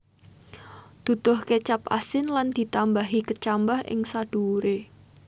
Duduh kecap asin lan ditambahi kecambah ing sadhuwure